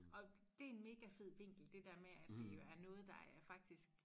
Og dét en mega fed vinkel det dér med at det jo er noget der er faktisk